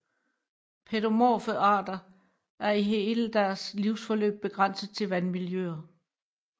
Pædomorfe arter er i hele deres livsforløb begrænset til vandmiljøer